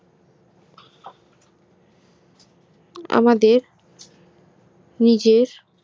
আমাদের নিজের